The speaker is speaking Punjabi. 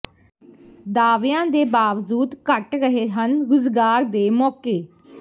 ਦਾਅਵਿਆਂ ਦੇ ਬਾਵਜੂਦ ਘਟ ਰਹੇ ਹਨ ਰੁਜ਼ਗਾਰ ਦੇ ਮੌਕੇ